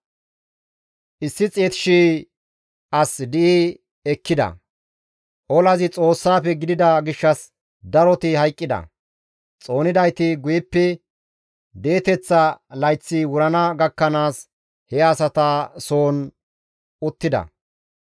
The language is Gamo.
Olazi Xoossaafe gidida gishshas daroti hayqqida; xoonidayti guyeppe di7eteththa layththi wurana gakkanaas he asata soon uttida.